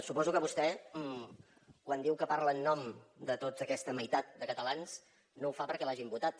suposo que vostè quan diu que parla en nom de tota aquesta meitat de catalans no ho fa perquè l’hagin votat